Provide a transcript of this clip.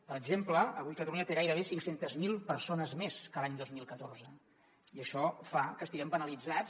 per exemple avui catalunya té gairebé cinc cents miler persones més que l’any dos mil catorze i això fa que estiguem penalitzats